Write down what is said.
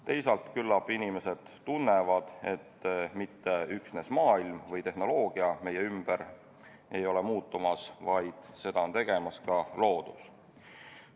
Teisalt, küllap inimesed tunnevad, et mitte üksnes maailm või tehnoloogia meie ümber ei ole muutumas, vaid seda on tegemas ka loodus.